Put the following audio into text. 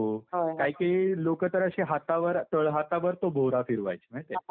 काही काही लोकं तर अशी हातावर, तळहातावर तो भोवरा फिरवायची. माहितीये का?